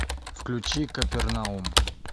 включи капернаум